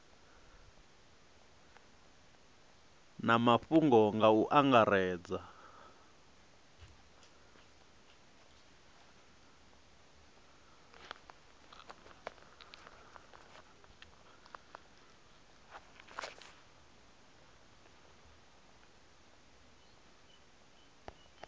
na mafhungo nga u angaredza